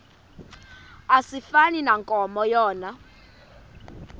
asifani nankomo yona